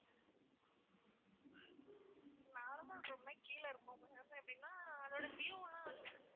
normal room னா கீழ இருக்கும் ma'am எப்படின்னா அதோட view எல்லாம் வந்து